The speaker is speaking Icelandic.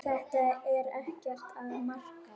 Þetta er ekkert að marka.